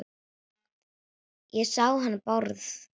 Ég sá hann Bárð.